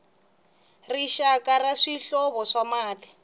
rixaka ra swihlovo swa mati